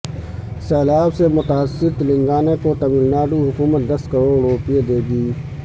سیلاب سے متاثر تلنگانہ کوتملناڈو حکومت دس کروڑ روپے دے گی